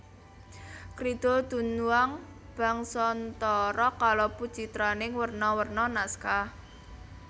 Kridha Dunhuang Bangsantara kalebu citraning werna werna naskah